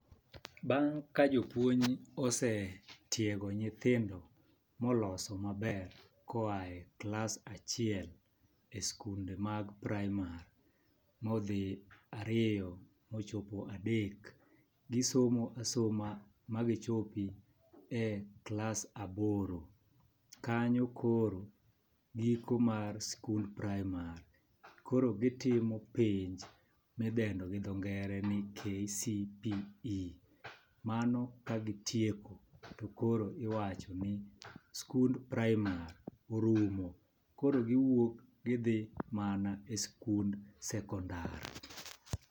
Bang' ka jopuonj osetiego nyithindo moloso maber koae klas achiel e sikunde mag praimar modhi e ariyo mochopo e adek, gisomo asoma ma gichopi e klas aboro . Kanyo koro giko mar sikund praimar koro gitimo penj midendo gi dho ngere ni KCPE .Mano ka gitieko to koro iwacho ni skund praimar orumo koro giwuok gidhi mana e skund sekondar.